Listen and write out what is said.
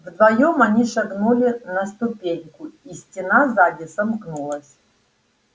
вдвоём они шагнули на ступеньку и стена сзади сомкнулась